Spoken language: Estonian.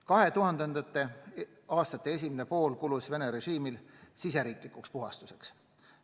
2000. aastate esimene pool kulus Vene režiimil riigisiseseks puhastuseks.